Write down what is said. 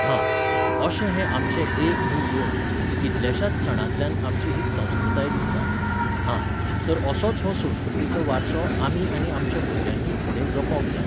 हां, अशे हे आमचे एक न्ही, दोन, कितल्याशाच सणांतल्यान आमची ही संस्कृताय दिसता. हां, तर असोच हो संस्कृतीचो वारसो आमी आनी आमच्या भुरग्यांनी फुडें जपोंक जायें.